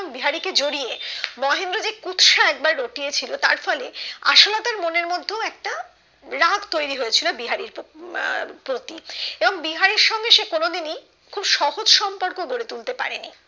বিহারি কে জড়িয়ে মহেন্দ্র যে কুৎসা একবার রটিয়ে ছিল তার ফলে আশালতার মনে মধ্যেও একটা রাগ তৈরি হয়েছিল বিহারীর প্রতি উম এবং বিহারীর সঙ্গে সে কোনোদিনই খুব সহজ সম্পর্ক গড়ে তুলতে পারেনি